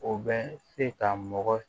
O bɛ se ka mɔgɔ